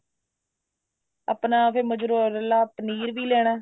ਆਪਣਾ ਫ਼ੇਰ mozzarella ਪਨੀਰ ਵੀ ਲੈਣਾ